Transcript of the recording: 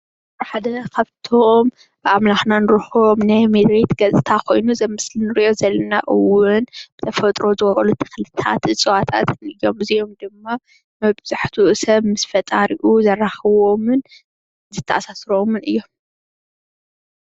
ሓደ ካብቶም ብኣምላኽና እንረኽቦምን ናይ መሬት ገፅታ ኾይኑ እዚ ኣብ ምስሊ ንሪኦ ዘለና እውን ብተፈጥሮ ዝወቐሉን ተኽልታት እፅዋታት እዮም እዚኣም ድማ መብዛሕትኡ ሰብ ምስ ፈጣሪኡ ዘራኽብዎምን ዘተአሳስርዎምን እዮም